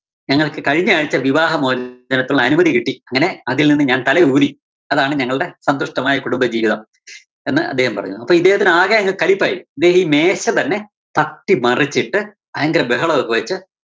ഞങ്ങള്‍ക്ക് കഴിഞ്ഞ ആഴ്ച വിവാഹമോച~നത്തിനുള്ള അനുമതി കിട്ടി. അങ്ങനെ അതില്‍ നിന്നും ഞാന്‍ തലയൂരി അതാണ് ഞങ്ങള്‍ടെ സന്തുഷ്ട്ടമായ കുടുംബ ജീവിതം എന്ന് അദ്ദേഹം പറഞ്ഞു. അപ്പോ ഇദ്ദേഹത്തിന് ആകെ അങ്ങ് കലിപ്പായി. ഇദ്ദേഹം ഈ മേശ തന്നെ തട്ടി മറിച്ചിട്ട് ഭയങ്കര ബഹളൊക്കെ വച്ച്